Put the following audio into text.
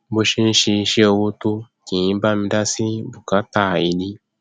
bó ṣe ń ṣiṣẹ owó tó kì í bá mi dá sí bùkátà ilé